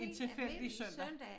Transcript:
En tilfældig søndag